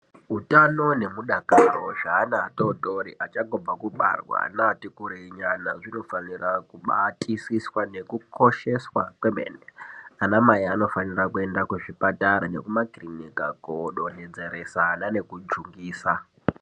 Utano nemudakaro zveana atotori achangobva kubarwa neati kurei nyana zvinofanira kubatisiswa nekukosheswa kwemene . Ana mai anofanira kuenda kuzvipatara nekumakirinika kodonhodzeresa ana nekujungisa .